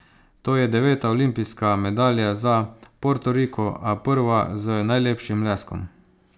To je deveta olimpijska medalja za Portoriko, a prva z najlepšim leskom.